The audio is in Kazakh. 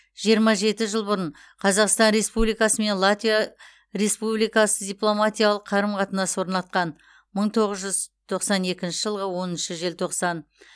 жиырма жеті жыл бұрын қазақстан республикасы мен латвия республикасы дипломатиялық қарым қатынас орнатқан мың тоғыз жүз тоқсан екінші жылғы оныншы желтоқсан